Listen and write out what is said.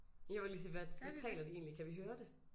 Jeg ville lige sige hvad hvad taler de egentlig kan vi høre det?